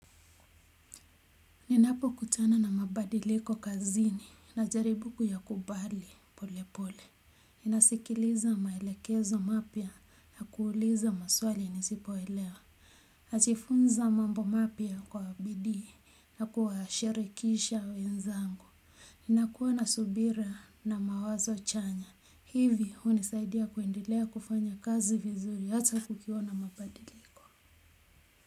Ninapokutana na mabadiliko kazini, najaribu kuyakubali polepole. Nasikiliza maelekezo mapya na kuuliza maswali nisipoelewa. Najifunza mambo mapya kwa bidii na kuwashirikisha wenzangu. Ninakua na subira na mawazo chanya hivi hunisaidia kuendelea kufanya kazi vizuri hata kukiwa na mabadiliko.